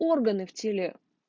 органы в теле